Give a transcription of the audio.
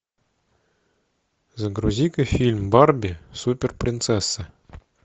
загрузи ка фильм барби супер принцесса